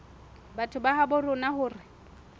batho ba habo rona hore